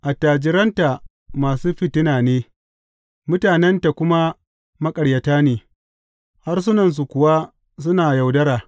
Attajiranta masu fitina ne; mutanenta kuma maƙaryata ne harsunansu kuwa suna yaudara.